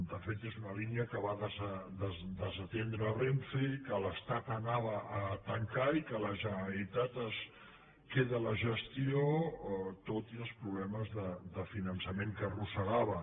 de fet és una línia que va desatendre renfe que l’estat anava a tancar i que la generalitat se’n queda la gestió tot i els problemes de finançament que arrossegava